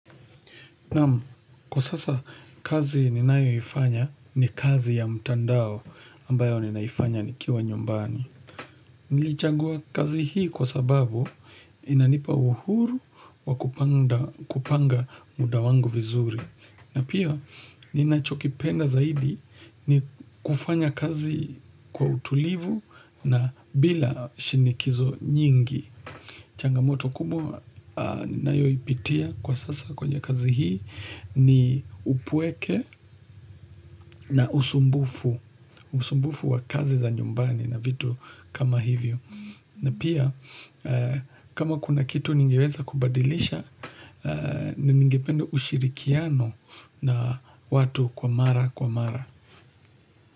Naam, kwa sasa kazi ninayoifanya ni kazi ya mtandao ambayo ninaifanya nikiwa nyumbani. Nilichagua kazi hii kwa sababu inanipa uhuru wa kupanga muda wangu vizuri. Na pia ninachokipenda zaidi ni kufanya kazi kwa utulivu na bila shinikizo nyingi. Changamoto kubwa ninayoipitia kwa sasa kwenye kazi hii ni upweke na usumbufu. Usumbufu wa kazi za nyumbani na vitu kama hivyo. Na pia kama kuna kitu ningeweza kubadilisha, ningependa ushirikiano na watu kwa mara.